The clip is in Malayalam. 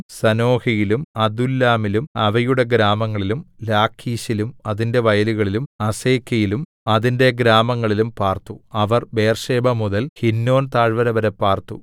സനോഹയിലും അദുല്ലാമിലും അവയുടെ ഗ്രാമങ്ങളിലും ലാഖീശിലും അതിന്റെ വയലുകളിലും അസേക്കയിലും അതിന്റെ ഗ്രാമങ്ങളിലും പാർത്തു അവർ ബേർശേബമുതൽ ഹിന്നോം താഴ്വരവരെ പാർത്തു